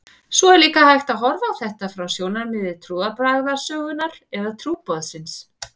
Svo er líka hægt að horfa á þetta frá sjónarmiði trúarbragðasögunnar eða trúboðsins.